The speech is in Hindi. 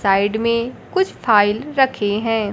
साइड में कुछ फाइल रखे हैं।